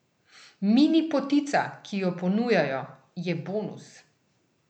Mini potica, ki jo ponujajo, je bonus.